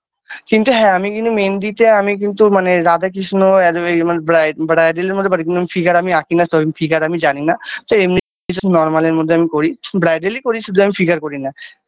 কিন্তু হ্যাঁ আমি কিন্তু মেহেন্দিতে আমি কিন্তু মানে রাধাকৃষ্ণ And এই মানে bride bridal -এর মধ্যে পারি কিন্তু figure আমি আঁকিনা so figure আমি জানিনা তো এমনি just normal -এর মধ্যে আমি করি bridal -ই করি শুধু আমি figure করি না।